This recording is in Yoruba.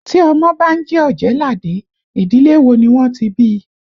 Tí ọmọ bá ń jẹ́ Ọ̀jẹ̀ẹ́làdé, ìdílé wo ni wọ́n ti bí I?